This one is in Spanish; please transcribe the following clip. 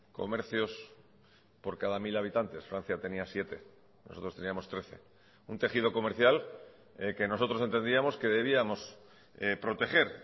comercios por cada mil habitantes francia tenía siete nosotros teníamos trece un tejido comercial que nosotros entendíamos que debíamos proteger